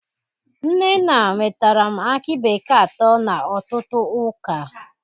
Nnenna nwetaram akị bekee atọ na ọtụtụ ụka.